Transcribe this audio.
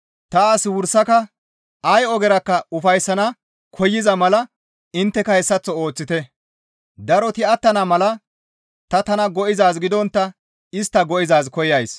Ta as wursaka ay ogerakka ufayssana koyza mala intteka hessaththo ooththite; daroti attana mala ta tana go7izaaz gidontta istta go7izaaz koyays.